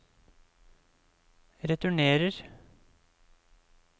returnerer